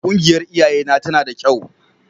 Ƙungiyar iyayena tana da kyau.